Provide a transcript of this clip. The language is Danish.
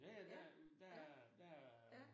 Ja ja, der er der er der er